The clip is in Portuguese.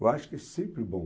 Eu acho que é sempre bom.